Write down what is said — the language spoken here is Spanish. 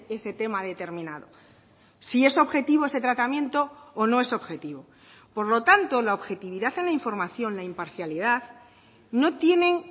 ese tema determinado si es objetivo ese tratamiento o no es objetivo por lo tanto la objetividad en la información la imparcialidad no tienen